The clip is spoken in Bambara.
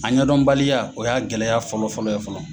A yɛndɔnbaliya o y'a gɛlɛya fɔlɔ fɔlɔ ye fɔlɔ.